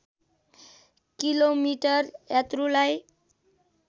kilometre यात्रुलाई